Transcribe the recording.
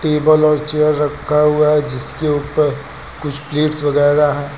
Table और chair रखा हुआ है जिसके ऊपर कुछ प्लेटस वगैरा हैं।